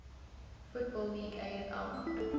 football league afl